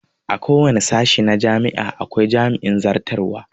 A kowane sashe na jami'a akwai jami'in zartarwa